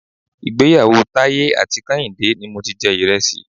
Ìgbéyàwó Taiye àti Kehinde ni mo ti jẹ Ìrẹsì.